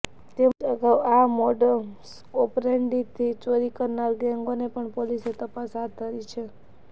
તેમજ અગાઉ આ મોડસઓપરેન્ડીથી ચોરી કરનાર ગેંગોની પણ પોલીસે તપાસ હાથ ધરી છે